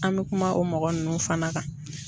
An bɛ kuma o mɔgɔ ninnu fana kan.